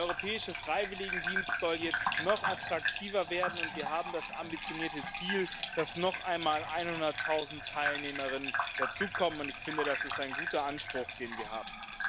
Der Europäische Freiwilligendienst soll jetzt noch attraktiver werden, und wir haben das ambitionierte Ziel, dass noch einmal einhunderttausend Teilnehmerinnen dazukommen, und ich finde, das ist ein guter Anspruch, den wir haben.